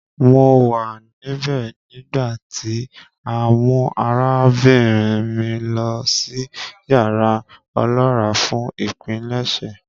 Mo wa nibẹ nigbati a mu arabinrin mi lọ si yara ọlọra fun ipilẹṣẹ.